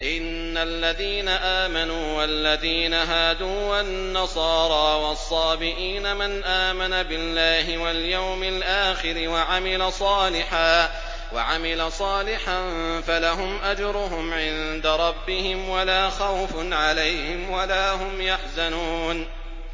إِنَّ الَّذِينَ آمَنُوا وَالَّذِينَ هَادُوا وَالنَّصَارَىٰ وَالصَّابِئِينَ مَنْ آمَنَ بِاللَّهِ وَالْيَوْمِ الْآخِرِ وَعَمِلَ صَالِحًا فَلَهُمْ أَجْرُهُمْ عِندَ رَبِّهِمْ وَلَا خَوْفٌ عَلَيْهِمْ وَلَا هُمْ يَحْزَنُونَ